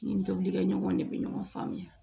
N tobili kɛ ɲɔgɔn de bɛ ɲɔgɔn faamuya